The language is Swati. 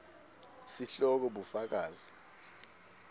sihloko bufakazi